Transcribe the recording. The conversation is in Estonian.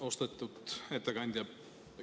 Austatud ettekandja!